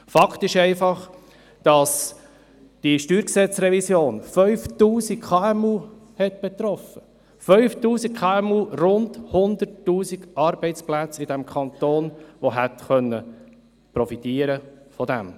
Fakt ist einfach, dass diese StG-Revision 5000 KMU betroffen hat – 5000 KMU und rund 100 000 Arbeitsplätze, die davon hätten profitieren können.